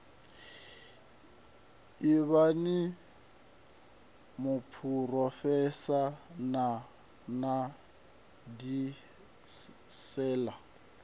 ivhani muphurofeshinala na u diimisela